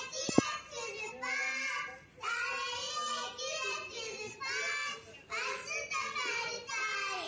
Meðal annars ræddi hann sérstaklega um Vestfirði og tengsl jarðhitans þar við brotlínur og ganga.